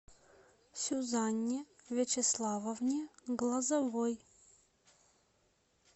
сюзанне вячеславовне глазовой